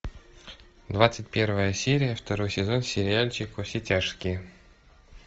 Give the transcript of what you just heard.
двадцать первая серия второй сезон сериальчик во все тяжкие